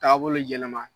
Taabolo yɛlɛma